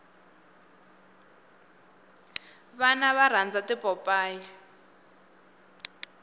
vana va rhandza tipopayi